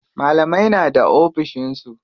Malamai na da ofishin su.